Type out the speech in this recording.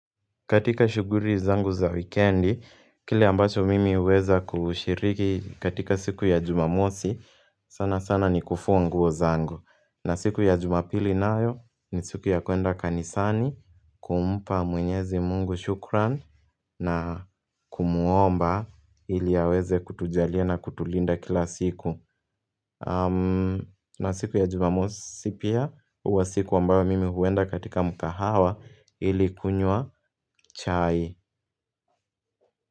Katika shuguri zangu za wikendi, kile ambacho mimi uweza kushiriki katika siku ya jumamosi, sana sana ni kufua nguo zangu. Na siku ya jumapili nayo ni siku ya kuenda kanisani, kumpa mwenyezi mungu shukran, na kumuomba ili aweze kutujalia na kutulinda kila siku. Na siku ya jumamosi pia uwa siku ambayo mimi huenda katika mkahawa ilikunywa chai.